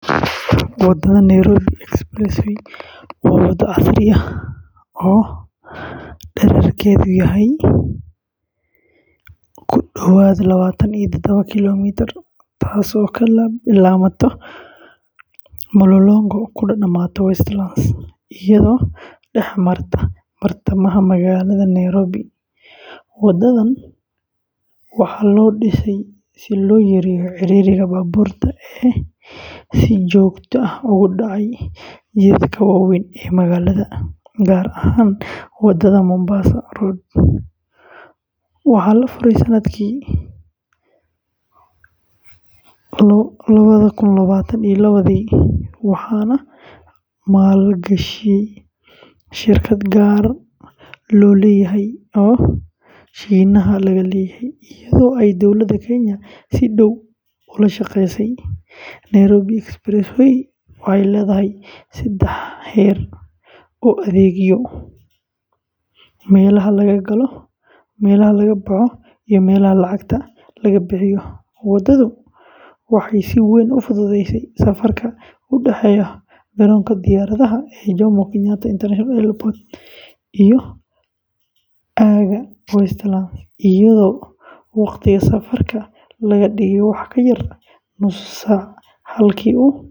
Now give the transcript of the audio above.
Waddada Nairobi Expressway waa waddo casri ah oo dhererkeedu yahay ku dhawaad lawatan iyo tadawo kiiloomitir, taasoo ka bilaabanta Mlolongo kuna dhammaata Westlands, iyadoo dhex martay bartamaha magaalada [csNairobi. Waddadan waxaa loo dhisay si loo yareeyo ciriiriga baabuurta ee si joogto ah uga dhaca jidadka waaweyn ee magaalada, gaar ahaan Wadada Mombasa. Waxaa la furay sannadkii lawadha kun lawatan iyo lawadhii waxaana maalgashay shirkad gaar loo leeyahay oo Shiinaha laga leeyahay, iyadoo ay Dowladda Kenya si dhow ula shaqeysay. Nairobi Expressway waxay leedahay saddex heer oo adeegyo ah: meelaha laga galo, meelaha laga baxo, iyo meelo lacagta laga bixiyo. Waddadu waxay si weyn u fududeysay safarka u dhaxeeya garoonka diyaaradaha ee Jomo Kenyatta International Airport iyo aagga Westlands, iyadoo waqtiga safarka laga dhigay wax ka yar nus saac halkii uu.